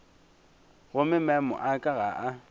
gomme maemo a ka ga